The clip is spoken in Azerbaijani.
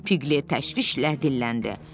Piqlet təşvişlə dilləndi.